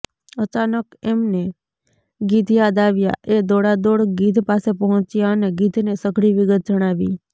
અચાનક એમને ગીધ યાદ આવ્યાં એ દોડાદોડ ગીધ પાસે પહોંચ્યા અને ગીધને સઘળી વિગત જણાવી